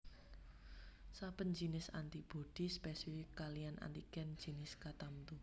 Saben jinis antibodi spesifik kaliyan antigen jinis katamtu